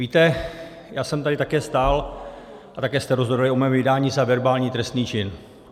Víte, já jsem tady také stál a také jste rozhodovali o mém vydání za verbální trestný čin.